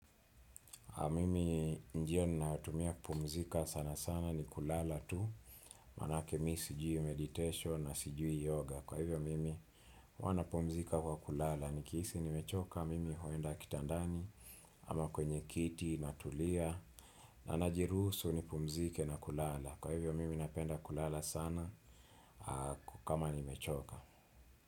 Mimi njia nayotumia kupumzika sana sana ni kulala tu. Manake mi sijui meditation na sijui yoga. Kwa hivyo mimi huwa napumzika kwa kulala. Nikihisi nimechoka mimi huenda kitandani. Ama kwenye kiti natulia. Na najiruhusu nipumzike na kulala. Kwa hivyo mimi napenda kulala sana. Kama nimechoka.